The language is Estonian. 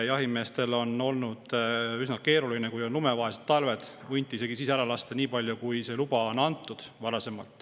Kui on olnud lumevaesed talved, on jahimeestel olnud varasemalt üsna keeruline hunte isegi nii palju lasta, kui on lube antud.